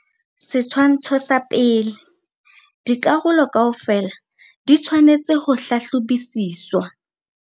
Setshwantsho sa pele. Dikarolo kaofela di tshwanetse ho hlahlobisiswa.